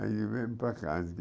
Aí eu viemos para cá.